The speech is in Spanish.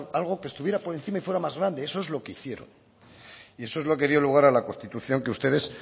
algo que estuviera por encima y fuera más grande eso es lo que hicieron eso es lo que dio lugar a la constitución que ustedes